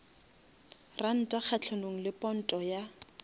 ranta kgahlanong le ponto ya